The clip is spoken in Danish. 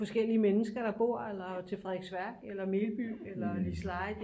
Forskellige mennesker der bor eller til Frederiksværk eller Melby eller Liseleje